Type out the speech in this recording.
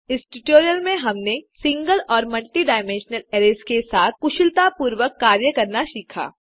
इस ट्यूटोरियल में हमने सिंगल और मल्टी डायमेंशनल अरैज़ के साथ कुशलतापूर्वक कार्य करना सीखा